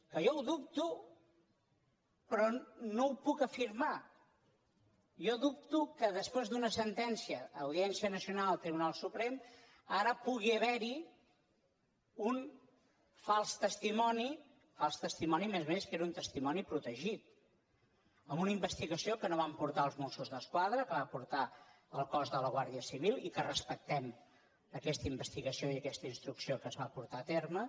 que jo ho dubto però no ho puc afirmar jo dubto que després d’una sentència audièn cia nacional tribunal suprem ara pugui haverhi un fals testimoni fals testimoni a més a més que era un testimoni protegit en una investigació que no van portar els mossos d’esquadra que va portar el cos de la guàrdia civil i que respectem aquesta investigació i aquesta instrucció que es va portar a terme